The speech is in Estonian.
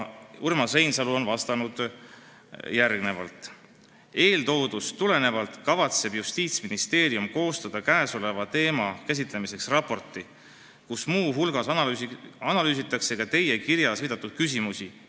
Urmas Reinsalu on vastanud järgmiselt: "Eeltoodust tulenevalt kavatseb Justiitsministeerium koostada käesoleva teema käsitlemiseks raporti, kus muu hulgas analüüsitakse ka teie kirjas viidatud küsimusi.